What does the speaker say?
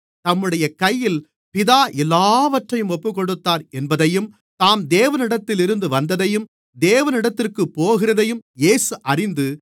தம்முடைய கையில் பிதா எல்லாவற்றையும் ஒப்புக்கொடுத்தார் என்பதையும் தாம் தேவனிடத்திலிருந்து வந்ததையும் தேவனிடத்திற்குப் போகிறதையும் இயேசு அறிந்து